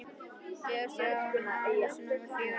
Í augum Stjána var húsið númer fjögur eins og höll.